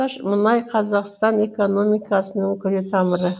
мұнай қазақстан экономикасының күре тамыры